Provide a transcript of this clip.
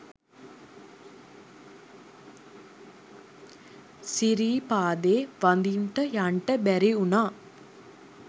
සිරීපාදේ වදින්ට යන්ට බැරි උනා